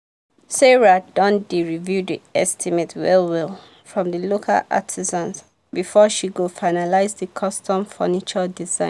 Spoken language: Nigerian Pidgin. sarah don dey review the estimate well well from the local artisans before she go finalize the custom furniture design.